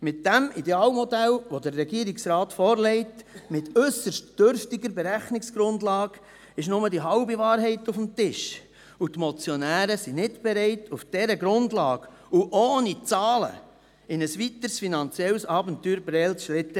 Mit dem Idealmodell, das der Regierungsrat vorlegt, mit äusserst dürftiger Berechnungsgrundlage, liegt nur die halbe Wahrheit auf dem Tisch, und die Motionäre sind nicht bereit, auf dieser Grundlage und ohne Zahlen in ein weiteres finanzielles Abenteuer Prêles zu schlittern.